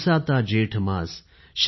झुलसाता जेठ मास